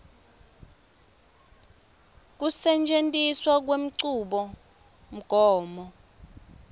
a kusetjentiswa kwenchubomgomo